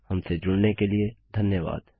हमसे जुड़ने के लिए धन्यवाद